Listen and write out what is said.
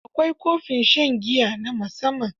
Akwai kofin shan giya na musamman.